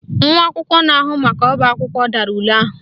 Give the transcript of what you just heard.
Nwa akwụkwọ na-ahụ maka ọbaakwụkwọ dara ule ahụ